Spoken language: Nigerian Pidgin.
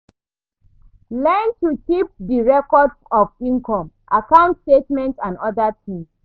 Learn to keep di record of income, account statement and oda things